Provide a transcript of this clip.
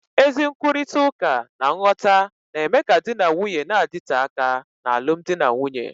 Ezi nkwurịta uka na nghọta na-eme ka di na nwunye na-adịte aka n'alụmdi na nwunye